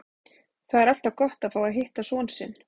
Það er alltaf gott að fá að hitta son sinn.